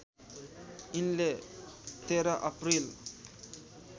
यिनले १३ अप्रिल